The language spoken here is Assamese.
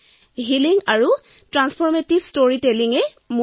মোৰ লক্ষ্য হল হিলিং এণ্ড ট্ৰান্সফৰমেটিভ ষ্টৰিটেলিং